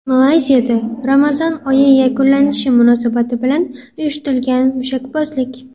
Malayziyada Ramazon oyi yakunlanishi munosabati bilan uyushtirilgan mushakbozlik.